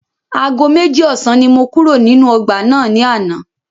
Aago méjì ọ̀sán ni mo kúrò nínú ọgbà náà ní àná.